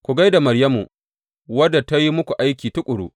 Ku gai da Maryamu wadda ta yi muku aiki tuƙuru.